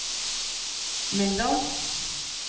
Meldal